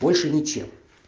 больше нечем